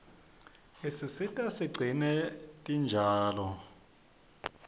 isisita sigcine tinjalo